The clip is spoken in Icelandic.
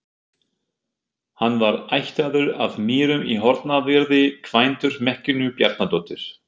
Hann var ættaður af Mýrum í Hornafirði, kvæntur Mekkínu Bjarnadóttur.